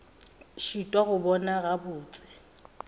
a šitwa go bona gabotse